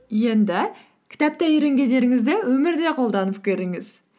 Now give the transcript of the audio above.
енді кітапта үйренгендеріңізді өмірде қолданып көріңіз